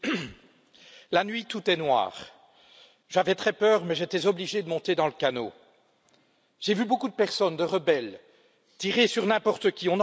Madame la Présidente, La nuit, tout est noir. J'avais très peur mais j'étais obligé de monter dans le canot. J'ai vu beaucoup de personnes, de rebelles, tirer sur n'importe qui.